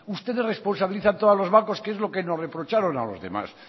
ustedes responsabilizan todo a los bancos que es lo que nos reprocharon a los demás